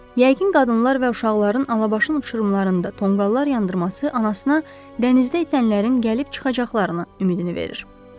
Yəqin qadınlar və uşaqların alabaşın uçurumlarında tonqallar yandırması anasına dənizdə itənlərin gəlib çıxacaqlarını ümidini verir.